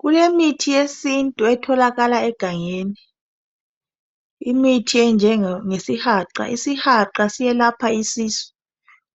Kulemithi yesintu etholakala egangeni, imithi enjengesihaqa, isihaqa siyelapha isisu,